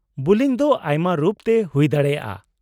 -ᱵᱩᱞᱤᱝ ᱫᱚ ᱟᱭᱢᱟ ᱨᱩᱯ ᱛᱮ ᱦᱩᱭ ᱫᱟᱲᱮᱭᱟᱜᱼᱟ ᱾